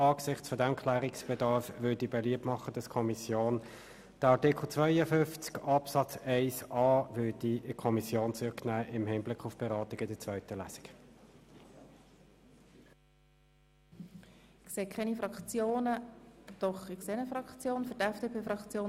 Angesichts dieses Klärungsbedarfs möchte ich beliebt machen, im Hinblick auf die Beratung für die zweite Lesung den Antrag in die Kommission zu nehmen.